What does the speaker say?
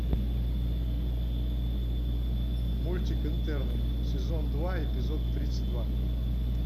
мультик интерны сезон два эпизод тридцать два